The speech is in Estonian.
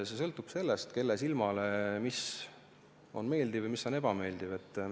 See sõltub sellest, kelle silmale mis on meeldiv ja mis on ebameeldiv.